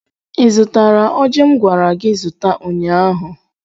ị zụtara ọjị m gwara gị zụta ụnyaahụ?